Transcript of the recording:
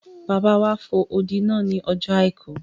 Bàbá wa fo odi náà ní ọjọ́ àìkú